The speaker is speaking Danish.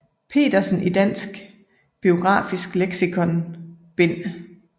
Petersen i Dansk biografisk Lexikon bd